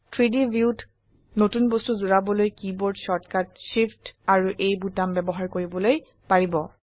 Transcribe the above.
3ডি ভিউত নতুন বস্তু জুড়াবলৈ keyboard shortcut shift amp A বোতাম ব্যবহাৰ কৰিবলৈ পাৰিব